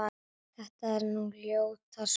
þetta er nú ljóta súpan